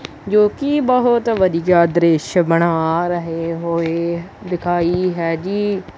ਜੋ ਕਿ ਬਹੁਤ ਵਧੀਆ ਦ੍ਰਿਸ਼ ਬਣਾ ਰਹੇ ਹੋਏ ਦਿਖਾਈ ਹੈ ਜੀ।